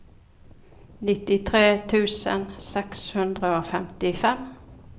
nittitre tusen seks hundre og femtifem